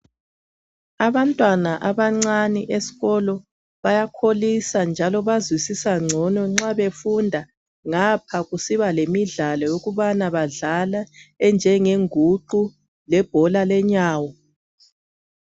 Abantwana abancane besikolo baya njalo bazwisisa ngcono nxa ngapha ngapha besiba lemidlalo yokubana badlale enjenge nguqu lebhola lenyawo.